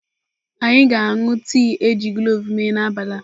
Anyị ga-aṅụ tii e ji kloves mee n'abalị a.